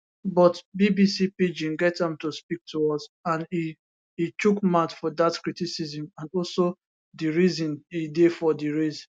but bbc pidgin get am to speak to us and e e chook mouth for dat criticism and also di reason e dey for di race